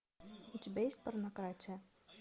у тебя есть порнократия